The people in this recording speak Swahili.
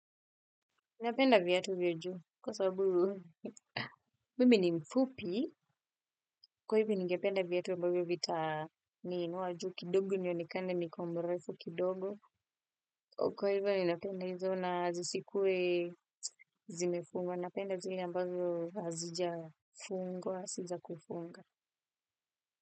Ninapenda viatu vya juu. Kwa sababu, mini ni mfupi. Kwa hivyo ningependa viatu ambayo vitaniinua juu kidogo nionekane niko mrefu kidogo. Kwa hivyo ninapenda hizo na zisikue zimefungwa. Napenda zile ambazo hazijafungwa, zizakufunga.